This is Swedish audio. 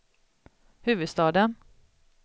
huvudstaden